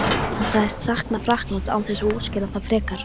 Hann sagðist sakna Frakklands án þess að útskýra það frekar.